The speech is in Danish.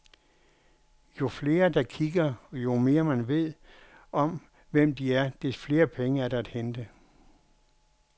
Jo flere, der kigger, og jo mere man ved om, hvem de er, des flere penge er der at hente.